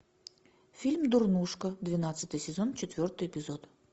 фильм дурнушка двенадцатый сезон четвертый эпизод